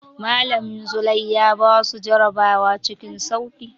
Malamin Zulai ya basu jarabawa cikin sauƙi.